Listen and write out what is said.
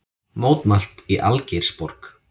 Mótmælt í Algeirsborg